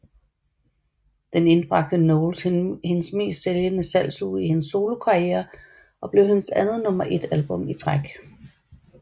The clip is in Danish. Den indbragte Knowles hendes mest sælgende salgsuge i hendes solokarriere og blev hendes andet nummer 1 album i træk